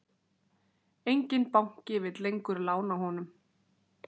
Enginn banki vill lengur lána honum.